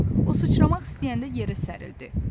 O sıçramaq istəyəndə yerə sərildi.